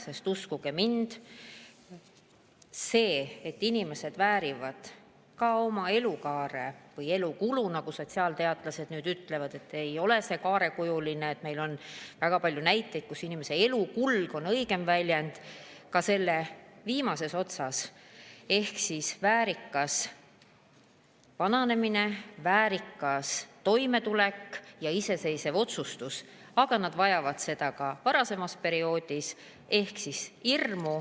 Sest uskuge mind, inimesed väärivad oma elukaare või elukulu – sotsiaalteadlased nüüd ütlevad, et see ei ole kaarekujuline, meil on väga palju näiteid, kui "inimese elukulg" on õigem väljend – viimases otsas väärikat vananemist, väärikat toimetulekut ja iseseisvat otsustamist, aga nad vajavad seda ka varasemal perioodil.